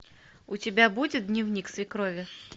у тебя будет дневник свекрови